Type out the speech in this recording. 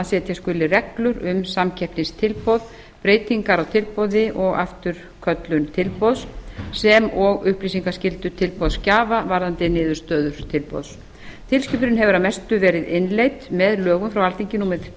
setja skuli reglur um samkeppnistilboð breytingar á tilboði og afturköllun tilboðs sem og upplýsingaskyldu tilboðsgjafa varðandi niðurstöðu tilboðs tilskipunin hefur að mestu verið innleidd með lögum frá alþingi númer